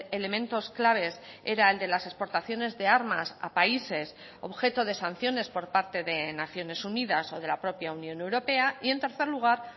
elementos claves era el de las exportaciones de armas a países objeto de sanciones por parte de naciones unidas o de la propia unión europea y en tercer lugar